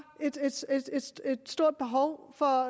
et stort behov for